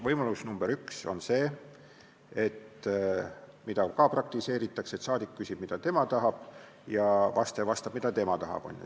Võimalus nr 1 on see, mida ka praktiseeritakse, et saadik küsib, mida tema tahab, ja vastaja vastab, mida tema tahab.